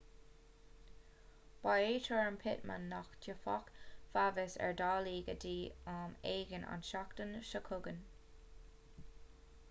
ba é tuairim pittman nach dtiocfadh feabhas ar dhálaí go dtí am éigin an tseachtain seo chugainn